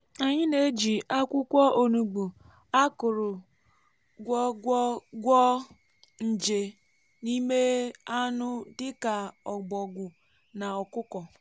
anyị na-eji akwụkwọ onugbu a kụrụ gwo gwo gwọọ nje n’ime anụ dị ka òbògwù na ọkụkọ.